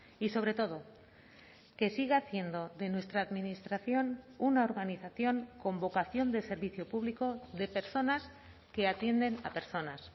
y sobre todo que siga haciendo de nuestra administración una organización con vocación de servicio público de personas que atienden a personas